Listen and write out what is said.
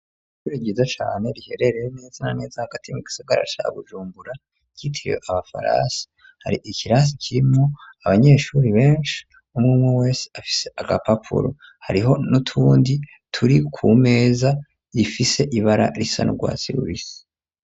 Ishure giza cane riherereye neza n'aneza agatimi gisogarasa gujumbura citiriwe abafarasi hari ikirasi kirimo abanyeshure benshi umwemwe afise agapapuro hariho nutundi turi ku meza rifise ibara risa n'ugwatsi rubisi